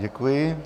Děkuji.